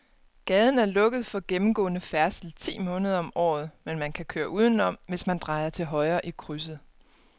Gaden er lukket for gennemgående færdsel ti måneder om året, men man kan køre udenom, hvis man drejer til højre i krydset.